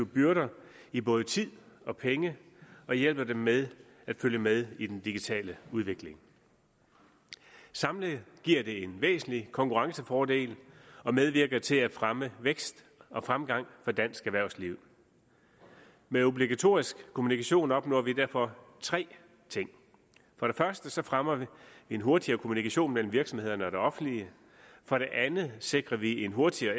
byrder i både tid og penge og hjælper dem med at følge med i den digitale udvikling samlet giver det en væsentlig konkurrencefordel og medvirker til at fremme vækst og fremgang for dansk erhvervsliv med obligatorisk kommunikation opnår vi derfor tre ting for det første fremmer vi en hurtigere kommunikation mellem virksomhederne og det offentlige for det andet sikrer vi en hurtigere